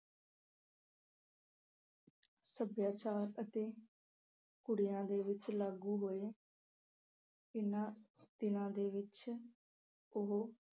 ਸੱਭਿਆਚਾਰ ਅਤੇ ਕੁੜੀਆਂ ਦੇ ਵਿੱਚ ਲਾਗੂ ਹੋਏ ਇਹਨਾਂ ਦਿਨਾਂ ਦੇ ਵਿੱਚ ਉਹ